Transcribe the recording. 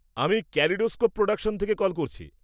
-আমি Kaleidoscope Productions থেকে call করছি।